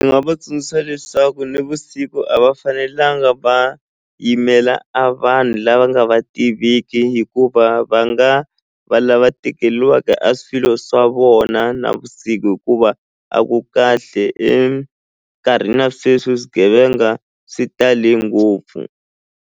Ndzi nga va tsundzuxa leswaku nivusiku a va fanelanga va yimela a vanhu lava nga va tiviki hikuva va nga va lava tekeliwaka a swilo swa vona navusiku hikuva a ku kahle enkarhini ya sweswi swigevenga swi tale ngopfu.